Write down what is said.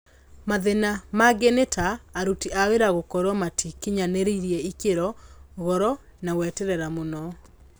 Mathĩna mangĩ nĩ ta; aruti a wĩra gũkorwo matakinyanĩirie ikĩro, goro, na gweterera mũno